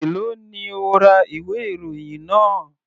Èló ni o ra ìwé ìròyìn náà?